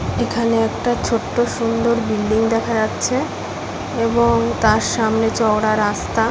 এখানে একটা ছোট্ট সুন্দর বিল্ডিং দেখা যাচ্ছে এবং তার সামনে চওড়া রাস্তা।